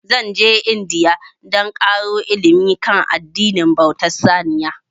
Zan je India dan ƙaro ilimi kan addinin bauta wa saniya